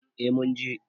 Eh mun je.